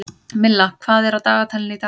Milla, hvað er á dagatalinu í dag?